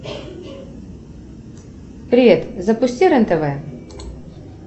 привет запусти рен тв